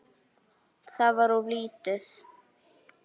Það var of lítið.